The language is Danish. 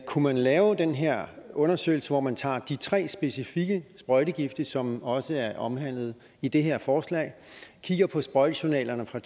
kunne man lave den her undersøgelse hvor man tager de tre specifikke sprøjtegifte som også er omhandlet i det her forslag kigger på sprøjtejournalerne fra